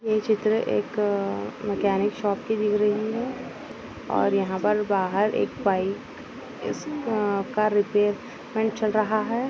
ये चित्र एक अअअ मेकेनिक शॉप की दिख रही है और यहाँ पर बाहर एक बाइक इसका रिपेयरमेन्ट चल रहा हैं।